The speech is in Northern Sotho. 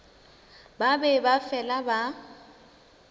ba be ba fela ba